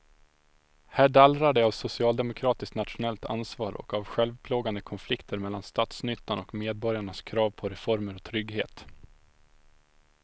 Här dallrar det av socialdemokratiskt nationellt ansvar och av självplågande konflikter mellan statsnyttan och medborgarnas krav på reformer och trygghet.